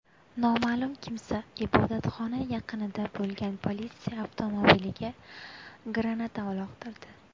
Noma’lum kimsa ibodatxona yaqinida bo‘lgan politsiya avtomobiliga granata uloqtirdi.